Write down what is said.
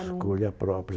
Escolha própria.